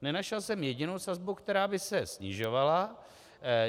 Nenašel jsem jedinou sazbu, která by se snižovala.